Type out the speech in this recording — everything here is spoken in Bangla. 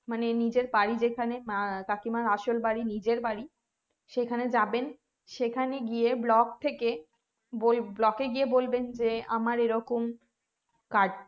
মানে নিজের বাড়ি যেখানে আহ কাকিমার আসল বাড়ি নিজের বাড়ি সেখানে যাবেন সেখানে গিয়ে block থেকে block এ গিয়ে বলবেন যে আমার এরকম card